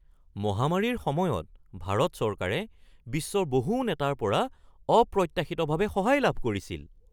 মহামাৰীৰ সময়ত ভাৰত চৰকাৰে বিশ্বৰ বহু নেতাৰ পৰা অপ্ৰত্যাশিতভাৱে সহায় লাভ কৰিছিল